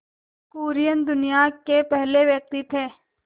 कुरियन दुनिया के पहले व्यक्ति थे